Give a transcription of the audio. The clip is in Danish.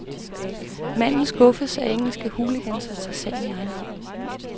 Manden skuffes af engelske hooligans og tager sagen i egen hånd.